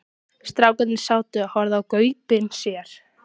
Strákarnir sátu og horfðu í gaupnir sér.